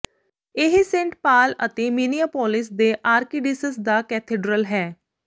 ਇਹ Saint Paul ਅਤੇ Minneapolis ਦੇ ਆਰਕਡੀਸਿਸ ਦਾ ਕੈਥੇਡ੍ਰਲ ਹੈ